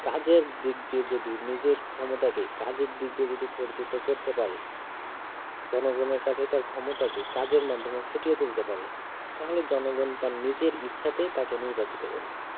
কাজের দিক দিয়ে যদি নিজের ক্ষমতাকে কাজের দিক দিয়ে যদি পরিচিত করতে পারে জনগনের কাছে তার ক্ষমতাকে কাজের মাধ্যমে ফুটিয়ে তুলতে পারে তাহলে জনগন তার নিজের ইচ্ছাতে তাকে নির্বাচিত করবে